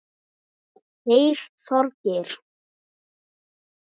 Þeir Þorgeir